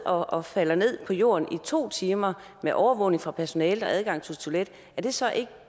og falder ned på jorden i to timer med overvågning fra personalet og adgang til toilet så ikke